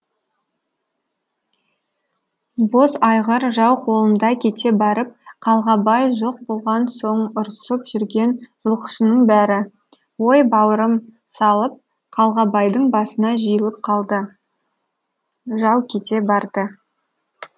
боз айғыр жау қолында кете барып қалғабай жоқ болған соң ұрысып жүрген жылқышының бәрі ой бауырым салып қалғабайдың басына жиылып қалды жау кете барды